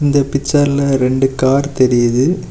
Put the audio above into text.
இந்த பிச்சர்ல ரெண்டு கார் தெரியுது.